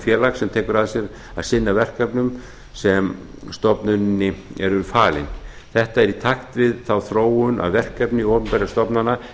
félags sem tekur að sér að sinna verkefnum sem stofnuninni eru falin þetta er í takt við þá þróun að verkefni opinberra stofnana